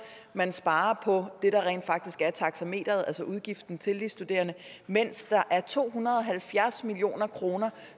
man sparer på det der rent faktisk er taxameteret altså udgiften til de studerende mens der er to hundrede og halvfjerds million kr